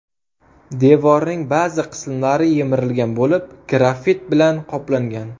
Devorning ba’zi qismlari yemirilgan bo‘lib, graffit bilan qoplangan.